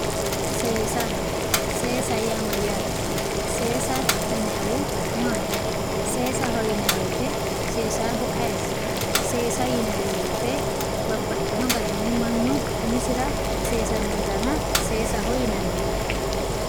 seesa seesa yaa mayaate seesa yinayiihu maati sesaho yinaayiwote sesaahu ayiiti seesa yinanni wooyiite babbaxino garinni mannu umisira seesanno dana seesaho yinanni.